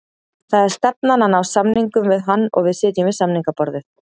Það er stefnan að ná samningum við hann og við sitjum við samningaborðið